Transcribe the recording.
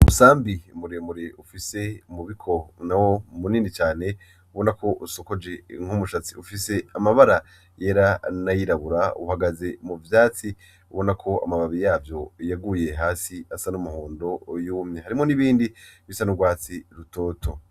Umusambi muremure ufise umubikono munini cane ubonako usokoje nkumushatsi ;ufise amabara yera ,n'ayirabura uhagaze muvyatsi ubonako amababi yavyo yaguye hasi asa n'umuhondo yumye; harimwo n'ibindi bisa n'ugwatsi rutoto.